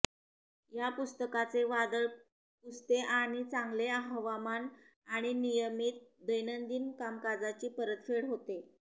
या पुस्तकाचे वादळ पुसते आणि चांगले हवामान आणि नियमित दैनंदिन कामकाजाची परतफेड होते